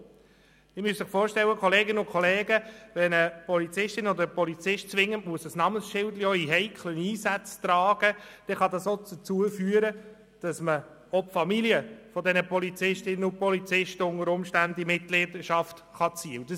Kolleginnen und Kollegen, Sie müssen sich vorstellen, dass unter Umständen auch die Familien der Polizistinnen und Polizisten in Mitleidenschaft gezogen werden können, wenn diese auch bei heiklen Einsätzen zwingend ein Namensschild tragen müssen.